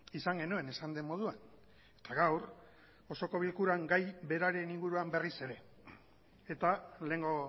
izan genuen esan den moduan eta gaur osoko bilkuran gai beraren inguruan berriz ere eta lehengo